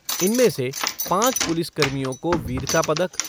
इनमें से पाँच पुलिस कर्मियों को वीरता पदक